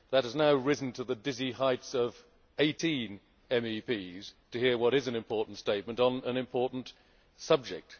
That has now risen to the dizzy heights of 18 MEPs, to hear what is an important statement on an important subject.